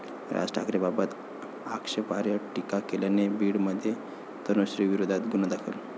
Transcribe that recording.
राज ठाकरेंबाबत आक्षेपार्ह टीका केल्याने बीडमध्ये तनुश्रीविरोधात गुन्हा दाखल